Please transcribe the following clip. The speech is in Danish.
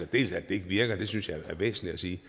det ikke virker og det synes jeg er væsentligt at sige